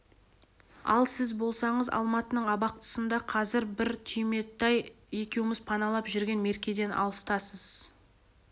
ал сіз болсаңыз алматының абақтысында қазір біз түйметай екеуміз паналап жүрген меркеден алыстасыз